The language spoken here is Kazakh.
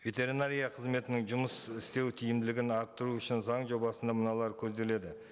ветеринария қызметінің жұмыс істеу тиімділігін арттыру үшін заң жобасына мыналар көзделеді